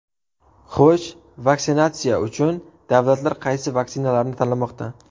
Xo‘sh, vaksinatsiya uchun davlatlar qaysi vaksinalarni tanlamoqda?